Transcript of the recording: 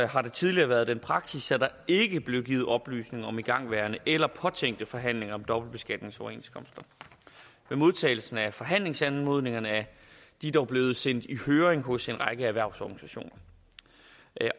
har der tidligere været den praksis at der ikke blev givet oplysninger om igangværende eller påtænkte forhandlinger om dobbeltbeskatningsoverenskomster ved modtagelsen af forhandlingsanmodningerne er de dog blevet sendt i høring hos en række erhvervsorganisationer